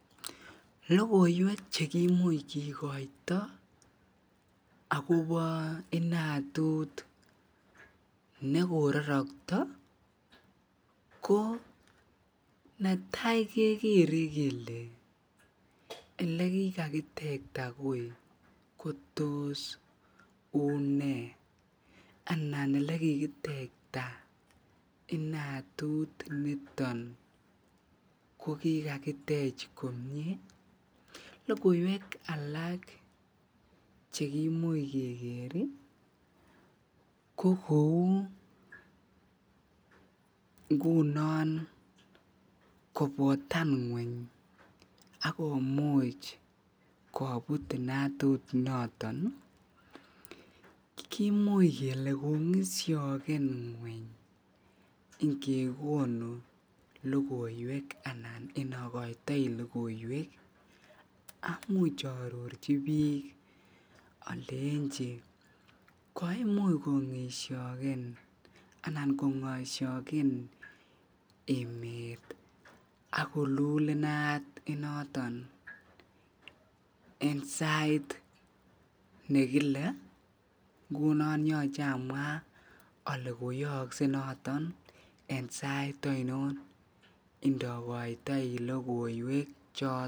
logoweek chegimuch kigoito agobo inatuut negororokto ko netai kegere kele elegigakitekta koii kotoss unee anan elegegakitekta inatut niton kogigagitech komyee, logoiweek alak chegimuch kegeer iih ko kouu ngunon kobotan ngweny ak komuch kobuut inatut noton iih kimuch kele kongisyogen ngweny keginu lagoiweek anan inokoitoi logoiweek, amuuch aarorchi biik olenchi koimuch kongisyogen anan kongosyogen emet ak koluul inaat inoton en sait negile ngunon yoche amwaa ole koyookse noton en sait ainon ndogoitoi logoiweek choton.